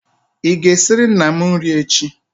ị ga-esiri nna m nri echi?